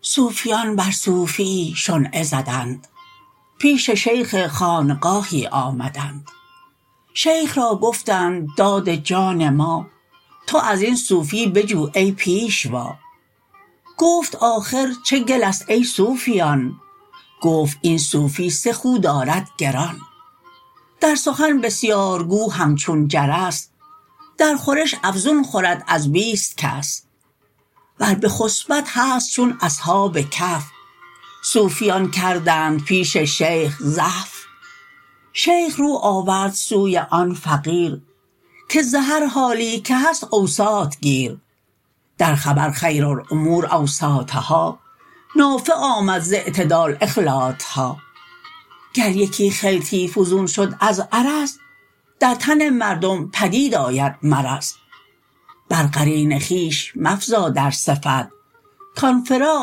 صوفیان بر صوفیی شنعه زدند پیش شیخ خانقاهی آمدند شیخ را گفتند داد جان ما تو ازین صوفی بجو ای پیشوا گفت آخر چه گله ست ای صوفیان گفت این صوفی سه خو دارد گران در سخن بسیارگو همچون جرس در خورش افزون خورد از بیست کس ور بخسپد هست چون اصحاب کهف صوفیان کردند پیش شیخ زحف شیخ رو آورد سوی آن فقیر که ز هر حالی که هست اوساط گیر در خبر خیر الامور اوساطها نافع آمد ز اعتدال اخلاطها گر یکی خلطی فزون شد از عرض در تن مردم پدید آید مرض بر قرین خویش مفزا در صفت کان فراق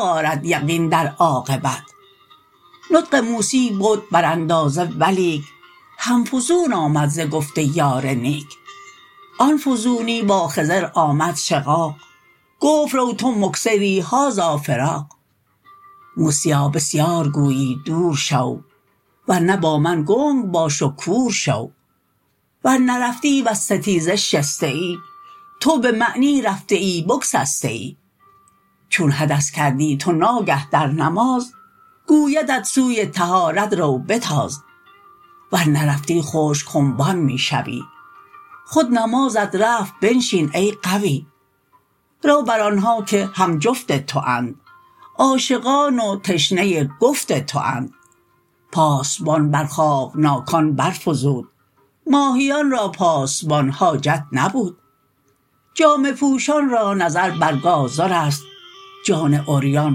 آرد یقین در عاقبت نطق موسی بد بر اندازه ولیک هم فزون آمد ز گفت یار نیک آن فزونی با خضر آمد شقاق گفت رو تو مکثری هذا فراق موسیا بسیارگویی دور شو ور نه با من گنگ باش و کور شو ور نرفتی وز ستیزه شسته ای تو به معنی رفته ای بگسسته ای چون حدث کردی تو ناگه در نماز گویدت سوی طهارت رو بتاز ور نرفتی خشک خنبان می شوی خود نمازت رفت پیشین ای غوی رو بر آنها که هم جفت توند عاشقان و تشنه گفت توند پاسبان بر خوابناکان بر فزود ماهیان را پاسبان حاجت نبود جامه پوشان را نظر بر گازرست جان عریان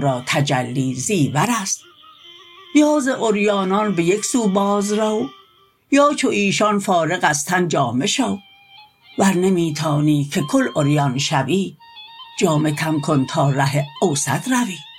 را تجلی زیورست یا ز عریانان به یکسو باز رو یا چو ایشان فارغ از تنجامه شو ور نمی توانی که کل عریان شوی جامه کم کن تا ره اوسط روی